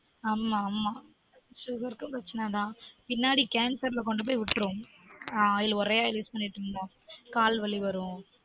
ஆமா ஆமா sugar க்கும் பிரச்சனை தான் பின்னாடி cancer ல கொண்டு போய் விட்டுரும் oil ஆஹ் ஒரே oiluse பண்ணிட்டு இருந்தா கால் வலி வரும்